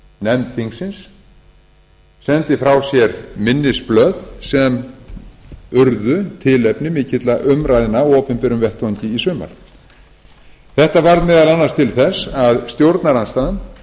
nefnd þingsins sendi frá sér minnisblöð sem urðu tilefni til mikilla umræðna á opinberum vettvangi í sumar þetta varð meðal annars til þess að stjórnarandstaðan